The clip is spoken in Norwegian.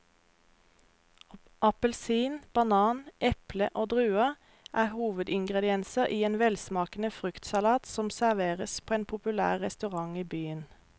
Appelsin, banan, eple og druer er hovedingredienser i en velsmakende fruktsalat som serveres på en populær restaurant i byen.